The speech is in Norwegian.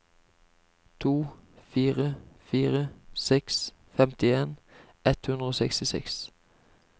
to fire fire seks femtien ett hundre og sekstiseks